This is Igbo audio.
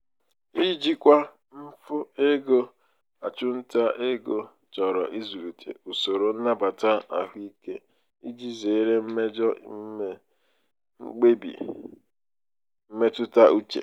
ijikwa mfu ego achụmnta ego chọrọ ịzụlite usoro nnabata ahụike iji zere mmejọ ime mkpebi mmetụta uche.